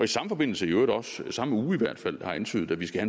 samme forbindelse i øvrigt også i samme uge i hvert fald har antydet at vi skal